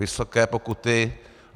Vysoké pokuty.